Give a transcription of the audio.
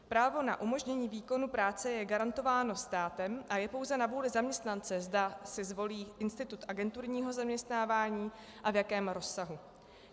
Právo na umožnění výkonu práce je garantováno státem a je pouze na vůli zaměstnance, zda si zvolí institut agenturního zaměstnávání a v jakém rozsahu.